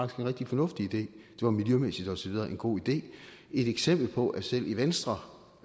rigtig fornuftig idé det var miljømæssigt og så videre en god idé et eksempel på at selv i venstre